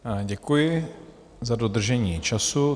Děkuji za dodržení času.